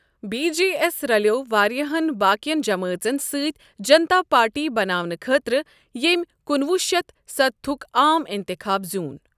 B J S رَلیوو واریاہن باقِین جمٲژن سۭتۍ جنتا پارٹی بناونہٕ خٲطرٕ ییٚمۍ کُنوُہ شیتھ ستستُھک عام اِتِخاب زیٛوٗن۔